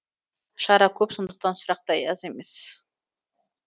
шара көп сондықтан сұрақ та аз емес